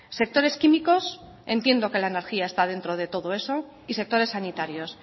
sectores químicos entiendo que la energía está dentro de todo eso y sectores sanitarios